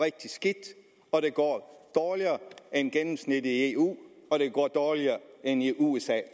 rigtig skidt og det går dårligere end gennemsnittet i eu og det går dårligere end i usa